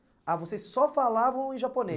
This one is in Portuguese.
Ah, vocês só falavam em